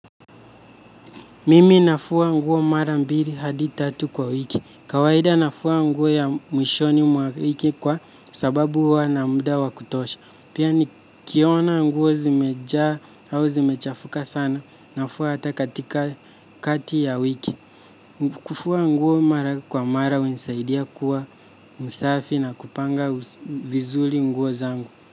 Mimi nafua, nguo mara mbili, hadi tatu kwa wiki. Kawaida, nafua nguo ya, mwishoni mwa wiki kwa. Sababu huwa na muda wakutosha. Pia. Nikiona nguo zimeja au zimechafuka sana, nafua hata katika. Kati ya wiki. Kufua nguo mara kwa mara hunisaidia kuwa. Msafi na kupanga, vizuri nguo zangu.